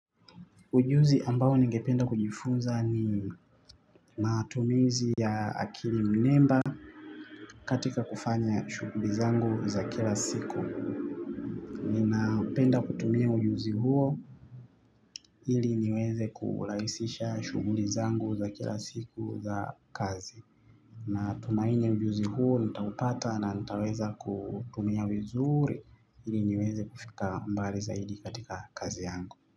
Ujuzi ambao ningependa kujifunza ni matumizi ya akiri mnemba katika kufanya shuguli zangu za kila siku. Ninaupenda kutumia ujuzi huo ili niweze kuulahisisha shughuli zangu za kila siku za kazi. Natumainye ujuzi huo nitaupata na nitaweza kuutumia vizuri ili niweze kufika mbali zaidi katika kazi yangu.